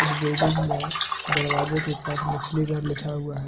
इस बिल्डिंग में दरवाजे के पास मछली घर लिखा हुआ है।